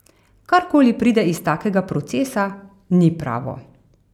Karkoli pride iz takega procesa, ni pravo.